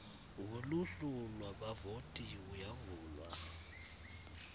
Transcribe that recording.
woluhlu lwabavoti uyavalwa